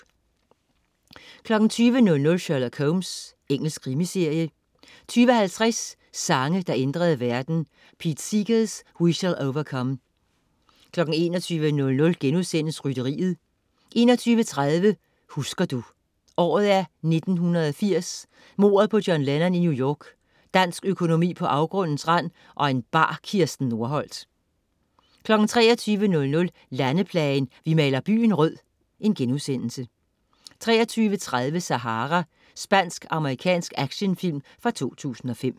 20.00 Sherlock Holmes. Engelsk krimiserie 20.50 Sange, der ændrede verden. Pete Seeger: We Shall Overcome 21.00 Rytteriet* 21.30 Husker du? Året er 1980. Mordet på John Lennon i New York, dansk økonomi på afgrundens rand og en bar Kirsten Norholt 23.00 Landeplagen. "Vi maler byen rød"* 23.30 Sahara. Spansk-amerikansk actionfilm fra 2005